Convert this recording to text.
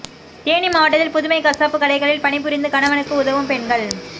தேனி மாவட்டத்தில் புதுமை கசாப்பு கடைகளில் பணிபுரிந்து கணவனுக்கு உதவும் பெண்கள்